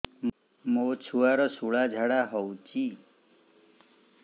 ମୋ ଛୁଆର ସୁଳା ଝାଡ଼ା ହଉଚି